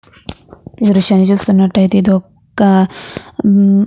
ఈ దృశ్యాన్ని చూస్తున్నట్టాయితే ఇది ఒక్క --